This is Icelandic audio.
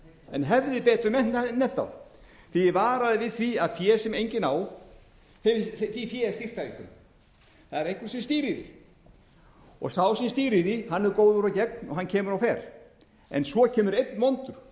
en hefði betur nefnt þá því að ég varaði við því að því fé sem enginn á er stýrt af einhverjum það er einhver sem stýrir því sá sem stýrir því er góður og gegn og hann kemur og fer en svo kemur einn vondur sem stýrir